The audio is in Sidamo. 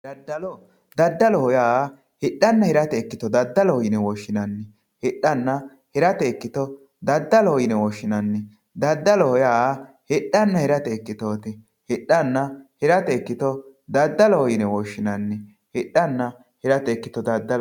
daddalo ,daddalo yaa hidhanna hirate ikkito daddalo yine woshshinanni hidhanna hirate ikkito ,daddalo yaa hidhanna hirate ikkito ikkito hidhanna hirate ikkito daddalo yine woshshinanni.